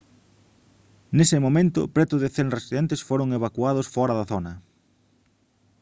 nese momento preto de 100 residentes foron evacuados fóra da zona